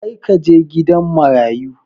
Kar ka je gidan marayu!